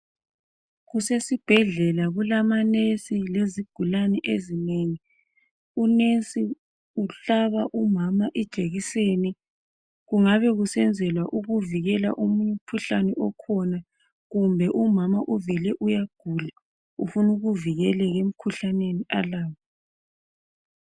Kuse sibhedlela kulama nesi lezigulane ezinengi. Unesi uhlaba umama ijekiseni. Kungabe kusenzelwa ukuvikela umkhuhlane okhona. Kumbe umama uvele uyagula. Ufuna ukuvikeleka emikhuhlaneni alawo.